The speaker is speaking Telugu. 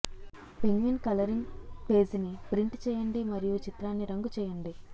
పెంగ్విన్ కలరింగ్ పేజిని ప్రింట్ చేయండి మరియు చిత్రాన్ని రంగు చేయండి